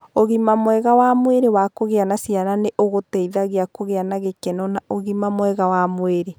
Ũgima mwega wa mwĩrĩ wa kugĩa ciana nĩ ũgũteithagia kũgĩa na gĩkeno na ũgima mwega wa mwĩrĩ.